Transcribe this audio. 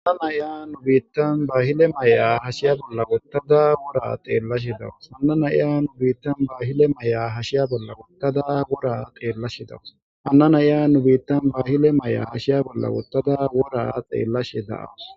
Ana naya nu biittan baahile may7a hashiya bolla wottada wora xeellashidawus anna naya nu biittan baahile may7a hashiya bolla wottada wura xeellashidawus ana naya nu biittan baahile may7a hashiya bolla wottada wora xeellashe da7awus